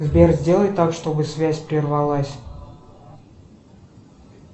сбер сделай так чтобы связь прервалась